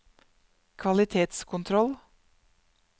kvalitetskontroll